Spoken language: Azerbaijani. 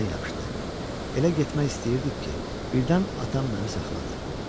Elə getmək istəyirdik ki, birdən atam məni saxladı.